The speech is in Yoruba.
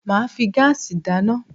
Máà fi gáàsì dáná